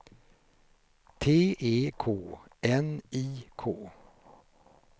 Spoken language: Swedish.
T E K N I K